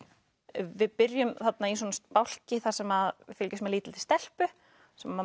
við byrjum í bálki þar sem við fylgjumst með lítilli stelpu sem